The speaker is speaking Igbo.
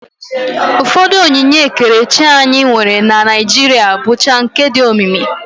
Ụfọdụ onyinye ekerechi anyị nwere na Naijiria bụcha nke dị omimi